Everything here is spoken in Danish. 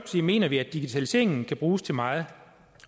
mener vi at digitaliseringen kan bruges til meget